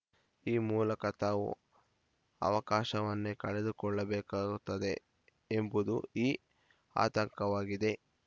ಈ ಮೂಲಕ ತಾವು ಅವಕಾಶವನ್ನೇ ಕಳೆದುಕೊಳ್ಳಬೇಕಾಗುತ್ತದೆ ಎಂಬುದು ಈ ಆತಂಕವಾಗಿದೆ